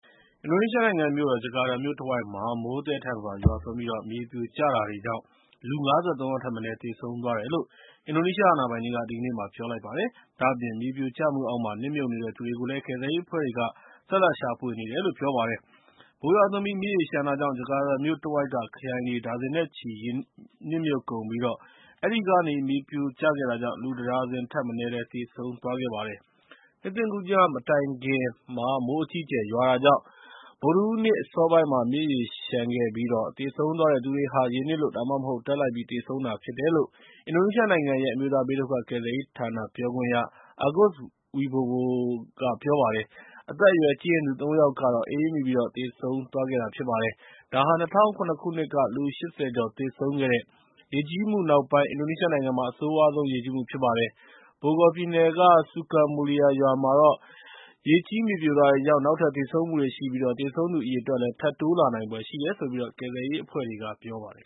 အင်ဒိုနီးရှားနိုင်ငံမြို့တော် ဂျကာတာမြို့တဝိုက်မှာ မိုးသည်းထန်စွာ ရွာသွန်းပြီး မြေပြိုကျတာတွေကြောင့် လူ ၅၃ ယောက်ထက်မနည်း သေဆုံးသွားတယ်လို့ အင်ဒိုနီးရှား အာဏာပိုင်တွေက ဒီကနေ့ ပြောလိုက်ပါတယ်။ ဒါ့အပြင် မြေပြိုကျမှုအောက်မှာ နစ်မြုပ်နေတဲ့သူတွေကို ကယ်ဆယ်ရေးအဖွဲ့တွေက ဆက်လက်ရှာဖွေနေကြပါတယ်။ မိုးရွာသွန်းပြီး မြစ်ရေလျှံတာကြောင့် ဂျကာတာမြို့တဝိုက်က ခရိုင်တွေ ဒါဇင်နဲ့ချီ ရေနစ်မြုပ်ကုန်ပြီး အဲဒီကနေ မြေပြိုကျခဲ့တာကြောင့် လူတဒါဇင်ထက်မနည်း သေဆုံးသွားခဲ့ပါတယ်။ နှစ်သစ်ကူးည မတိုင်ခင် မိုးအကြီးအကျယ် ရွာတာကြောင့် ဗုဒ္ဓဟူးနေ့ အစောပိုင်းမှာ မြစ်ရေလျှံခဲ့တာဖြစ်ပြီး သေဆုံးသွားတဲ့သူတွေဟာ ရေနစ်လို့ ဒါမှမဟုတ် ဓာတ်လိုက်ပြီး သေဆုံးတာ ဖြစ်တယ်လို့ အင်ဒိုနီးရှားနိုင်ငံရဲ့ အမျိုးသားဘေးဒုက္ခ ကယ်ဆယ်ရေးဌာန ပြောခွင့်ရ Agus Wobowo က ပြောပါတယ်။ အသက်အရွယ်ကြီးရင့်သူ ၃ ယောက်ကတော့ အအေးမိပြီး သေဆုံးသွားခဲ့ပါတယ်။ ဒါဟာ ၂၀၀၇ ခုနှစ်က လူ ၈၀ ကျော် သေဆုံးခဲ့တဲ့ ရေကြီးမှုနောက်ပိုင်း အင်ဒိုနီးရှားနိုင်ငံမှာ အဆိုးရွားဆုံး ရေကြီးမှု ဖြစ်ပါတယ်။ Bogor ပြည်နယ်က Sukamulia ရွာမှာတော့ ရေကြီး မြေပြိုတာတွေကြောင့် နောက်ထပ်သေဆုံးမှုတွေရှိပြီး သေဆုံးသူအရေအတွက် ထပ်တိုးလာနိုင်ဖွယ် ရှိတယ်လို့ ကယ်ဆယ်ရေးအဖွဲ့တွေက ပြောပါတယ်